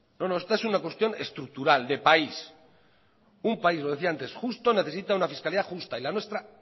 esto es una cuestión estructural de país un país lo decía antes justo necesita una fiscalidad justa y la nuestra